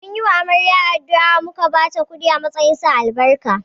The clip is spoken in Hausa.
Mun yi wa amarya addu’a, muka ba ta kudi a matsayin sa albarka